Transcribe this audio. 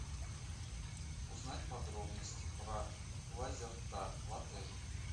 узнать подробности про лазертаг в отеле